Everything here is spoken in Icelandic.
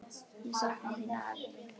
Ég sakna þín, afi minn.